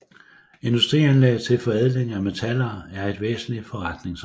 Industrianlæg til forædling af metaller er et væsentligt forretningsområde